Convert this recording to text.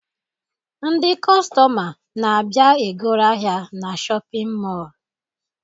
Ndị kọstọma na-abịa e goro ahịa na shọpịn mọọ